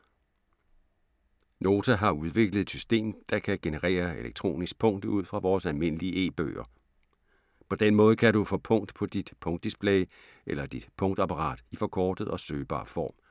Nota har udviklet et system, der kan generere elektronisk punkt ud fra vores almindelige e-bøger. På den måde kan du få punkt på dit punktdisplay eller dit punktapparat i forkortet og søgbar form.